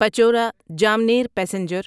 Pachora Jamner passenger